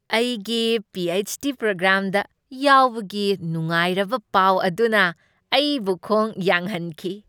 ꯑꯩꯒꯤ P. H. D. ꯄ꯭ꯔꯣꯒ꯭ꯔꯥꯝꯗ ꯌꯥꯎꯕꯒꯤ ꯅꯨꯡꯉꯥꯏꯔꯕ ꯄꯥꯎ ꯑꯗꯨꯅ ꯑꯩꯕꯨ ꯈꯣꯡ ꯌꯥꯡꯍꯟꯈꯤ꯫